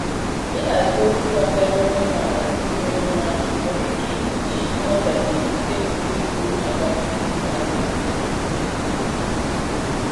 Ihazi okwu gbasara onye nwe ala n'ụzọ doro anya nwere ike igbochi nghọtahie nke pụrụ igbu agamnihu azụmahịa.